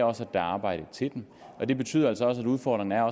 også er arbejde til dem og det betyder altså også at udfordringen er